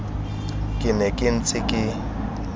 ke ne ke ntse ke